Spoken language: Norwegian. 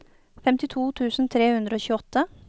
femtito tusen tre hundre og tjueåtte